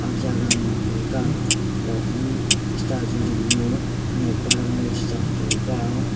jagam ngan taiga lok nu sta ju ding ma khanak pa rong ley che chang taiga.